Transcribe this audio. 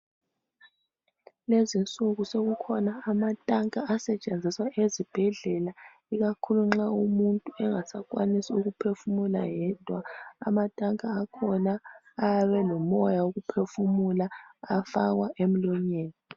Kulezinsuku sekukhona amatanka asetshenziswa ezibhedlela ikakhulu nxa umuntu engasakwanisi ukuphefumula yedwa. Amatanka akhona ayab' elomoya wokuphefumula, afakwa emlonyeni.